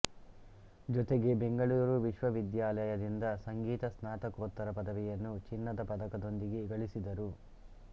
ಜೊತೆಗೆ ಬೆಂಗಳೂರು ವಿಶ್ವವಿದ್ಯಾಲಯದಿಂದ ಸಂಗೀತ ಸ್ನಾತಕೋತ್ತರ ಪದವಿಯನ್ನು ಚಿನ್ನದ ಪದಕದೊಂದಿಗೆ ಗಳಿಸಿದರು